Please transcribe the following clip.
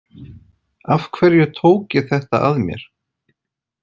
Af hverju tók ég þetta að mér?